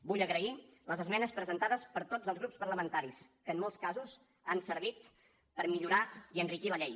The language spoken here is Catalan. vull agrair les esmenes presentades per tots els grups parlamentaris que en molts casos han servit per millorar i enriquir la llei